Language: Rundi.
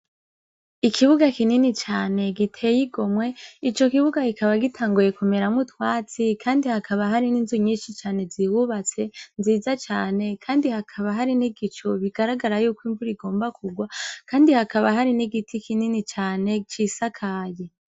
Ikibuga kinini cane giteye igomwe. Ico kibuga kikaba gitanguye kumeramwo utwatsi, kandi hakaba hari n'inzu nyinshi cane zihubatse nziza cane, kandi hakaba hari n'igicu bigaragara yuko imvura igomba kugwa, kandi hakaba hari n'igiti kinini cane cisakaye.